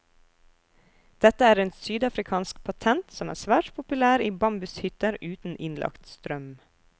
Dette er en sydafrikansk patent som er svært populær i bambushytter uten innlagt strøm.